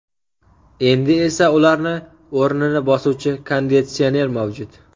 Endi esa ularni o‘rnini bosuvchi konditsioner mavjud.